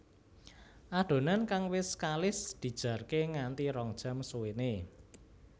Adonan kang wis kalis dijarke nganti rong jam suwéné